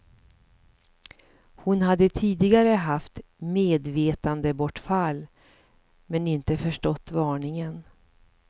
Hon hade tidigare haft medvetandebortfall, men inte förstått varningen.